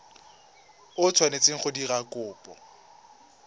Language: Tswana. o tshwanetseng go dira kopo